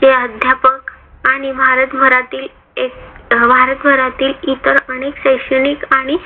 चे अध्यापक आणि भारत भरातील एक भारत भरातील इतर अनेक शैक्षणिक आणि